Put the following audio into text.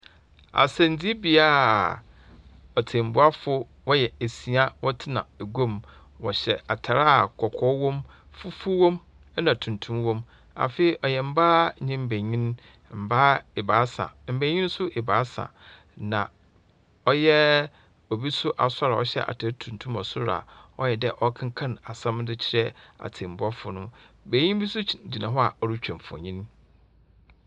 Asɛmdzibea a atsɛmbuafo wɔyɛ esia wɔtsena egua mu. Wɔhyɛ atar a kɔkɔɔ wɔ mu, fufuw wɔ mu na tuntum wɔ mu. Afei, ɔyɛ mbaa nye mbanyin, mbaa ebiasa, mbanyin ebiasa. Na ɔyɛ obi so asoɛr a ɔhyɛ atar tuntum wɔ sor a ɔyɛ dɛ ɔrekenkan asɛm bi akyerɛ atsɛmbuafo no. Banyin bi gu gyina hɔ a orutwa mfonyin.